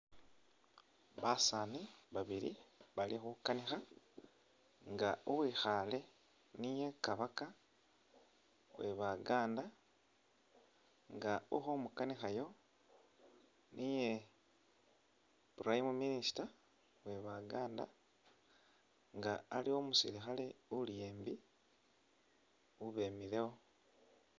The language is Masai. Basaani babili bali khukanikha nga uwikhaale niye kabaka we baganda, nga ukho mukanikhayo niye prime minister we baganda, nga aliwo umusilikhale uli embi ubemilewo.